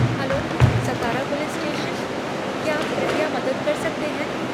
Hello, Satara police station, क्या आप कृपया मदद कर सकते हैं?